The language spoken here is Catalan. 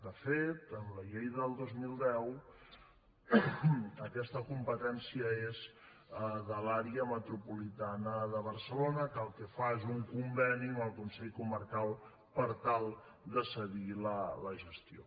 de fet amb la llei del dos mil deu aquesta competència és de l’àrea metropolitana de barcelona que el que fa és un conveni amb el consell comarcal per tal de cedir la gestió